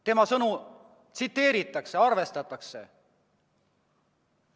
Tema sõnu tsiteeritakse, arvestatakse.